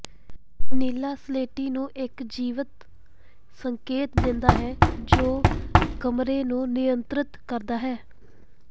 ਨੀਲਾ ਸਲੇਟੀ ਨੂੰ ਇੱਕ ਜੀਵੰਤ ਸੰਕੇਤ ਦਿੰਦਾ ਹੈ ਜੋ ਕਮਰੇ ਨੂੰ ਨਿਯੰਤ੍ਰਿਤ ਕਰਦਾ ਹੈ